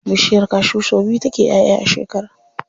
Bishiyar cashew sau biyu take ƴaʼƴa a shekara.